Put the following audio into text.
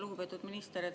Lugupeetud minister!